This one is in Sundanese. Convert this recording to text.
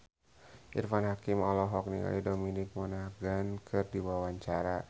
Irfan Hakim olohok ningali Dominic Monaghan keur diwawancara